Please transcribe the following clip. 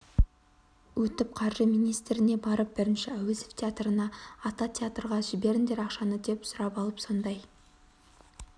өтіп қаржы министріне барып бірінші әуезов театрына ата театрға жіберіңдер ақшаны деп сұрап алып сондай